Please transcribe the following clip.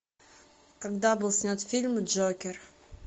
когда был снят фильм джокер